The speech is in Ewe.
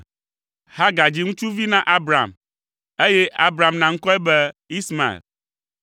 Hagar dzi ŋutsuvi na Abram, eye Abram na ŋkɔe be Ismael.